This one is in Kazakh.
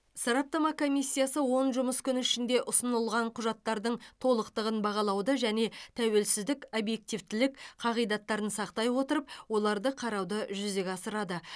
сараптама комиссиясы он жұмыс күні ішінде ұсынылған құжаттардың толықтығын бағалауды және тәуелсіздік объективтілік қағидаттарын сақтай отырып оларды қарауды жүзеге асырады